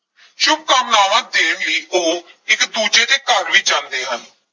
ਸ਼ੁਭਕਾਮਨਾਵਾਂ ਦੇਣ ਲਈ ਉਹ ਇਕ ਦੂਜੇ ਦੇ ਘਰ ਵੀ ਜਾਂਦੇ ਹਨ।